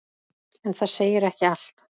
En það segir ekki allt.